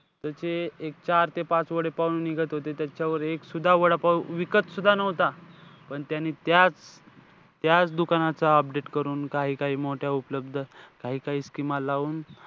त्याचे एक चार ते पाच वडेपाव निघत होते, त्याच्यावर एकसुद्धा वडापाव विकतसुद्धा नव्हता. पण त्याने त्या त्याच दुकानाचं update करून, काही काही मोठ्या उपलब्ध scheme लावून,